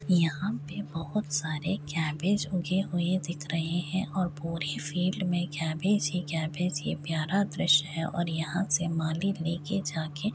यहाँ पे बोहोत सारे कैबेज उगे हुए दिख रहे हैं और पूरी फील्ड में कैबेज ही कैबेज यह प्यारा दृश्य हैं और यहाँ से माली लेके जा के --